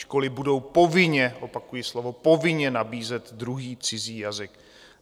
Školy budou povinně, opakuji slovo povinně, nabízet druhý cizí jazyk.